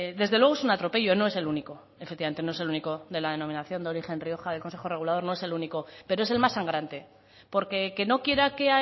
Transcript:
desde luego es un atropello no es el único efectivamente no es el único de la denominación de origen rioja del consejo regulador no es el único pero es el más sangrante porque que no quiera que